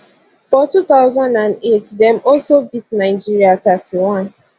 for 2008 dem also beat nigeria 31